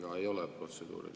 Mul ei ole protseduurilist.